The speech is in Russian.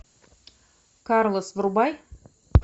карлос врубай